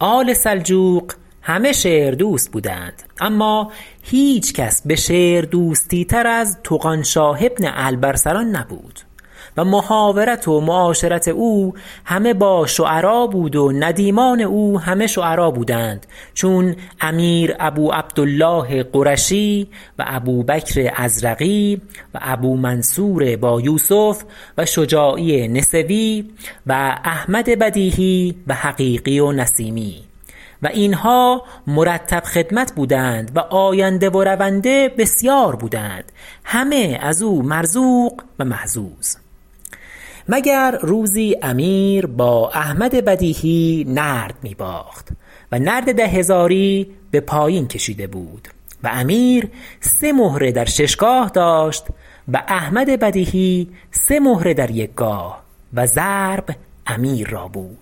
آل سلجوق همه شعر دوست بودند اما هیچ کس به شعر دوستی تر از طغانشاه بن الب ارسلان نبود و محاورت و معاشرت او همه با شعرا بود و ندیمان او همه شعرا بودند چون امیر ابو عبدالله قرشی و ابوبکر ازرقی و ابومنصور بایوسف و شجاعی نسوی و احمد بدیهی و حقیقی و نسیمی و اینها مرتب خدمت بودند و آینده و رونده بسیار بودند همه از او مرزوق و محظوظ مگر روزی امیر با احمد بدیهی نرد می باخت و نرد ده هزاری به پایین کشیده بود و امیر سه مهره در شش گاه داشت و احمد بدیهی سه مهره در یک گاه و ضرب امیر را بود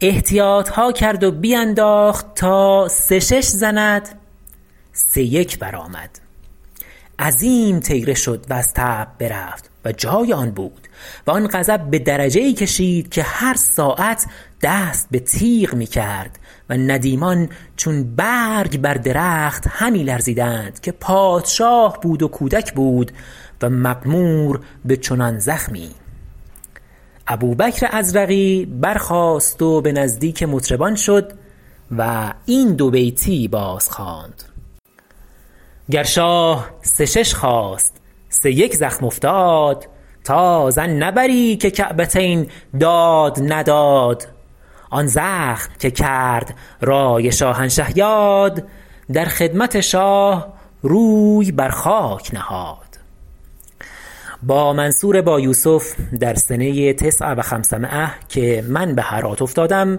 احتیاط ها کرد و بینداخت تا سه شش زند سه یک برآمد عظیم طیره شد و از طبع برفت و جای آن بود و آن غضب به درجه ای کشید که هر ساعت دست به تیغ می کرد و ندیمان چون برگ بر درخت همی لرزیدند که پادشاه بود و کودک بود و مقمور به چنان زخمی ابوبکر ازرقی برخاست و به نزدیک مطربان شد و این دوبیتی بازخواند گر شاه سه شش خواست سه یک زخم افتاد تا ظن نبری که کعبتین داد نداد آن زخم که کرد رای شاهنشه یاد در خدمت شاه روی بر خاک نهاد بامنصور بایوسف در سنه تسع و خمسمایة که من به هرات افتادم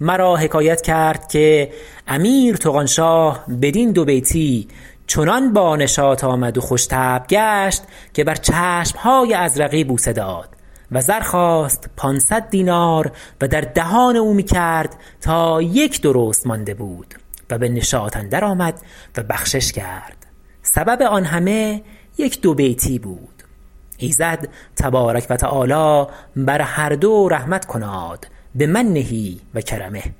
مرا حکایت کرد که امیر طغانشاه بدین دوبیتی چنان بانشاط آمد و خوش طبع گشت که بر چشم های ازرقی بوسه داد و زر خواست پانصد دینار و در دهان او می کرد تا یک درست مانده بود و به نشاط اندر آمد و بخشش کرد سبب آن همه یک دوبیتی بود ایزد تبارک و تعالی بر هر دو رحمت کناد بمنه و کرمه